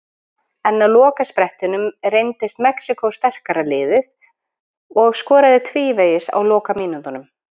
En á lokasprettinum reyndist Mexíkó sterkara liðið og skoraði tvívegis á lokamínútunum.